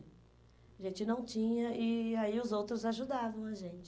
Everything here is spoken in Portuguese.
A gente não tinha e aí os outros ajudavam a gente.